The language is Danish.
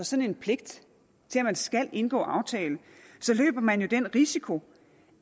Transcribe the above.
sådan en pligt til at man skal indgå aftale så løber man jo den risiko